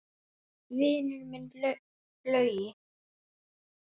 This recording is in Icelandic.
Vinur minn Laugi!